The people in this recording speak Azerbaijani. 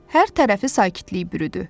Hər tərəfi sakitlik bürüdü.